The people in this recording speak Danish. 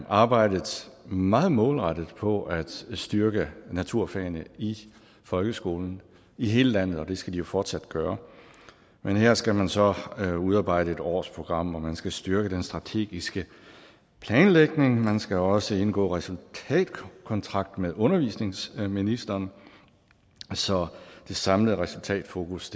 arbejdet meget målrettet på at styrke naturfagene i folkeskolen i hele landet og det skal de jo fortsat gøre men her skal man så udarbejde et årsprogram hvor man skal styrke den strategiske planlægning man skal også indgå resultatkontrakt med undervisningsministeren så det samlede resultatfokus